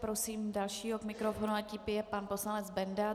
Prosím dalšího k mikrofonu a tím je pan poslanec Benda.